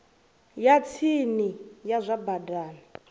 ya tsini ya zwa badani